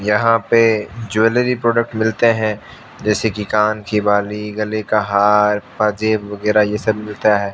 यहां पे jewellery product मिलते हैं जैसे कि कान की बाली गले का हार बाजे वगैराह ये सब मिलता है।